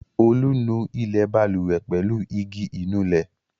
Olú nu ilẹ̀ balùwẹ̀ pẹ̀lú igi ìnulẹ̀.